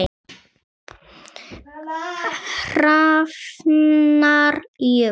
Hrafnar Jökull.